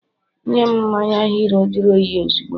nyem mmanya hero juru oyi ozugbo!